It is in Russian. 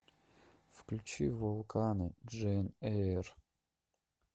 включи вулканы джейн эйр